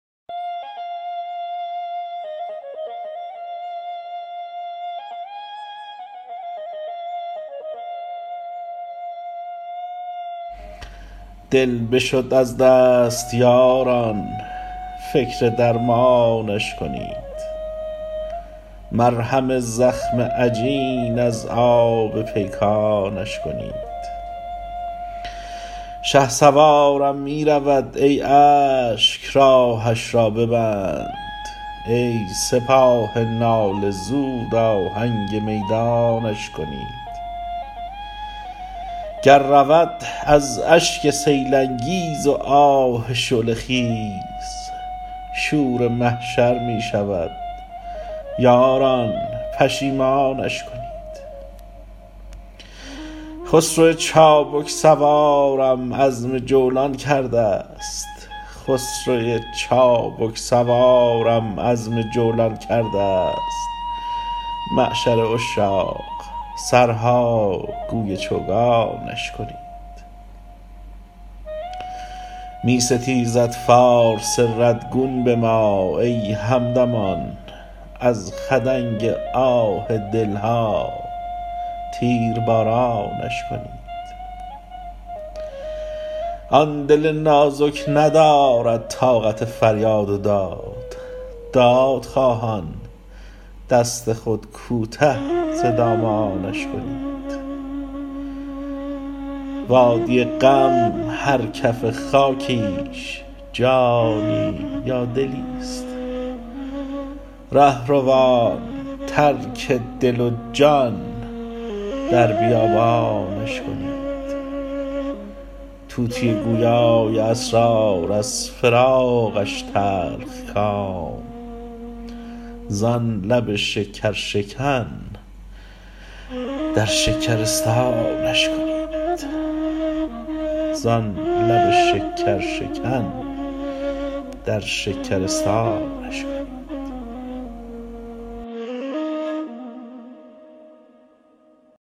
دل بشد از دست یاران فکر درمانش کنید مرهم زخم عجین از آب پیکانش کنید شهسوارم میرود ای اشک راهش را ببند ای سپاه ناله زود آهنگ میدانش کنید گر رود از اشک سیل انگیز و آه شعله خیز شور محشر میشود یاران پشیمانش کنید خسرو چابک سوارم عزم جولان کرده است معشر عشاق سرها گوی چوگانش کنید میستیزد فارس رد گون بما ای همدمان از خدنگ آه دلها تیر بارانش کنید آن دل نازک ندارد طاقت فریاد و داد دادخواهان دست خود کوته ز دامانش کنید وادی غم هر کف خاکیش جانی یا دلی است رهروان ترک دل و جان در بیابانش کنید طوطی گویای اسرار از فراقش تلخکام زان لب شکر شکن در شکرستانش کنید